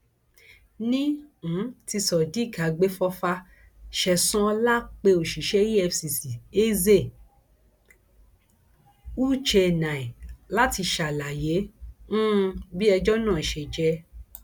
ní um ti sodiq agbèfọfà sẹsan ọlá pé òṣìṣẹ efcc eze u chennai láti ṣàlàyé um bí ẹjọ náà ṣe jẹ